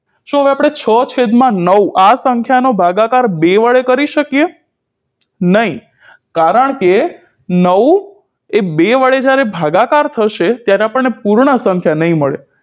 હવે આપણે છ છેદમાં નવ આ સંખ્યાનો ભાગાકાર બે વડે કરી શકીએ નહીં કારણ કે નવએ બે વડે જ્યારે ભાગાકાર થશે ત્યારે આપણને પૂર્ણ સંખ્યા નહિ મળે